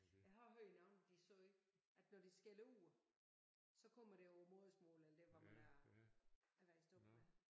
Jeg har hørt nogle de sagde at når de skælder ud så kommer det på modersmålet eller der hvor man er er vokset op med